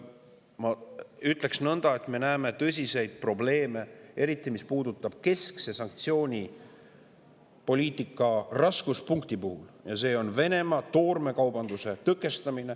Ma ütleks, et me näeme tõsiseid probleeme, eriti mis puudutab keskse sanktsioonipoliitika raskuspunkti ehk Venemaa toormekaubanduse tõkestamist.